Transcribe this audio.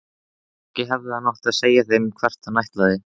Kannski hefði hann átt að segja þeim hvert hann ætlaði.